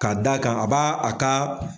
Ka da kan a ba a ka.